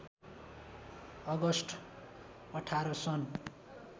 August १८ सन्